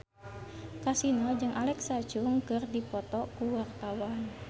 Kasino jeung Alexa Chung keur dipoto ku wartawan